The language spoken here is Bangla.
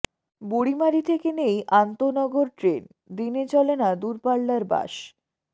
বুড়িমারী থেকে নেই আন্তঃনগর ট্রেন দিনে চলে না দূরপাল্লার বাস